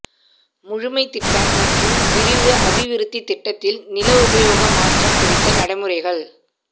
முழுமைத் திட்டம் மற்றும் விரிவு அபிவிருத்தி திட்டத்தில் நில உபயோக மாற்றம் குறித்த நடைமுறைகள்